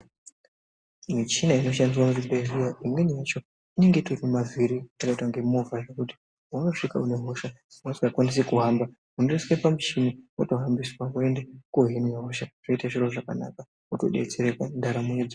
Michina inoshandiswa muzvibhehleya imweni yacho inenge itori nemavhiri kuita kunge movha, zvekuti paunosvika uine hosha usingakwanisi kuhamba inoiswe pamuchini wotohambiswa woende kohinwe hosha zvoite zviro zvakanaka wotodetsereka ndaramo yodzoka.